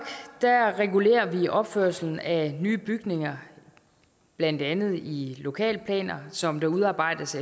regulerer vi opførelsen af nye bygninger blandt andet i lokalplaner som der udarbejdes